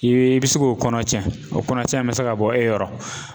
I be i bi se k'o kɔnɔ cɛn, o kɔnɔcɛn mɛ se ka bɔ e yɔrɔ